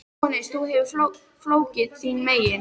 JÓHANNES: Þú hefur fólkið þín megin.